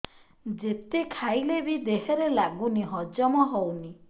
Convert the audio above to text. ଯେତେ ଖାଇଲେ ବି ଦେହରେ ଲାଗୁନି ହଜମ ହଉନି